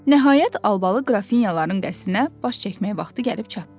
Nəhayət, albalı qrafinyaların qəsrinə baş çəkmək vaxtı gəlib çatdı.